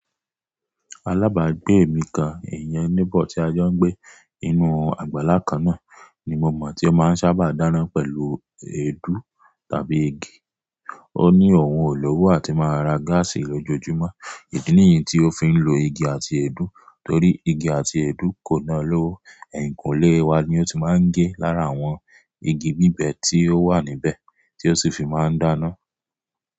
Alábàágbé èmi kán iyen neighbour tí a jọ ń gbé inú àgbàlá kan náà ni mo mọ̀ tí ó máa ń sábà dáná pẹ̀lú èédú tàbí igi. Ó ní òun ò lowo àti máa ra gáàsì lójoojúmọ́. Ìdí nìyí tí ó fi ń lo igi àti èédú torí igi àti èédú kò na lọ́wọ́. Ẹ̀yìnkùnlé wa ni ó ti máa ń gé lára àwọn igi bíbẹ tí ó wà níbẹ̀ tí ó sì fi máa ń dáná.